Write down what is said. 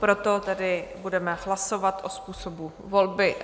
Proto tedy budeme hlasovat o způsobu volby.